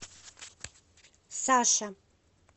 саша